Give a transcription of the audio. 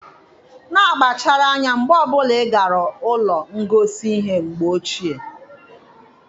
Na-akpachara anya mgbe ọ bụla ị gara ụlọ ngosi ihe mgbe ochie.